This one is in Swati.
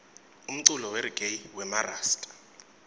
umculo weregayi wemarasta